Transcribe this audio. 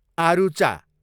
आरूचा